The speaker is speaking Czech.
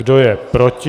Kdo je proti?